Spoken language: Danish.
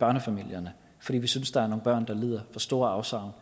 børnefamilierne fordi vi synes der er nogle børn der lider for store afsavn